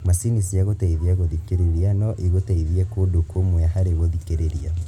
Macini cĩa gũteithĩrĩria gũthikĩrĩria no igũteithie kũndũ kũmwe harĩ gũthikĩrĩria